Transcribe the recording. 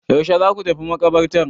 Yaushe za ku tafi maƙabartar?